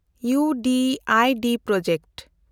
ᱤᱭᱩᱰᱤᱰ project